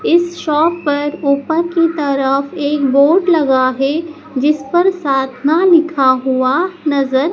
इस शॉप पर ऊपर की तरफ एक बोर्ड लगा है जिस पर साधना लिखा हुआ नजर--